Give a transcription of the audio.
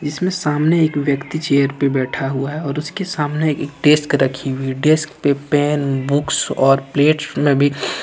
जिसमें सामने एक व्यक्ति चेयर पे बैठा हुआ है और उसके सामने एक डेस्क रखी हुई डेस्क पे पेन बुक्स और प्लेट में भी--